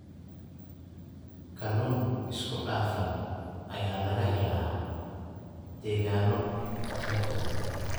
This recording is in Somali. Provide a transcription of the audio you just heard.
Kalluun isku dhafan ayaa laga helaa degaanno kala duwan.